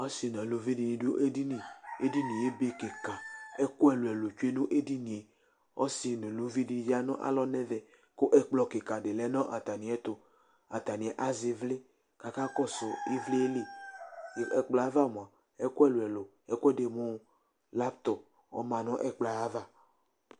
asi nu aluvi di ni du edini, edinie ebe kika ɛku ɛlu ɛlu tsue nu edinie, ɔsi nu ayi eluvi di ya nu alɔ nu ɛvɛ ku ɛkplɔ kika di lɛ nu ata miɛtu ata ni azɛ ivli ku aka kɔsu ivli li , ɛkplɔɛ ava mʋa ɛku ɛlu ɛlu lakto ama nu ɛkplɔ yɛ ava